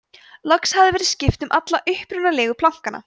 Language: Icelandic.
loks hafði verið skipt um alla upprunalegu plankana